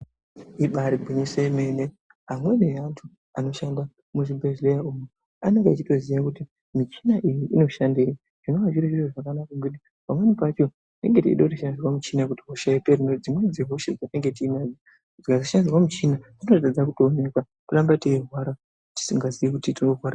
Ibare gwinyiso remene, amweni yeantu anoshanda muzvibhedlera umo anenge achitoziva kuti michina iyi inoshandeyi ,zvinova zviri zviro zvakanaka nekuti pamweni pacho tinenge tichida kushandisirwa michina kuti hosha ipere, nekuti dzimweni dzehosha dzatinenge tinadzo dzikasashandisirwa muchina dzinotadza kuwonekwa toramba tiyirwara tisingazive kutitinorwara.